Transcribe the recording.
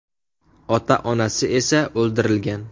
Ota-onasi esa o‘ldirilgan.